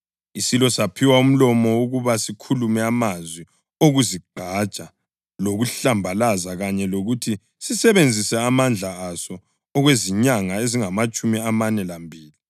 Isilo saphiwa umlomo ukuba sikhulume amazwi okuzigqaja lokuhlambaza kanye lokuthi sisebenzise amandla aso okwezinyanga ezingamatshumi amane lambili.